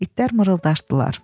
İtlər mırıldaşdılar.